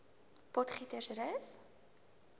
potgietersrus